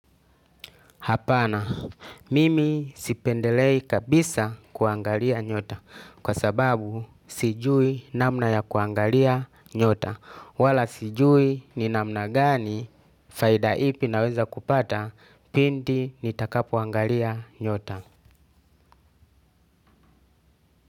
Hapana mimi sipendelei kabisa kuangalia nyota kwa sababu sijui namna ya kuangalia nyota wala sijui ni namna gani faida ipi naweza kupata pindi nitakapoangalia nyota.